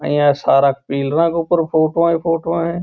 यहाँ सारे पिलरों के ऊपर फोटो ही फोटो है।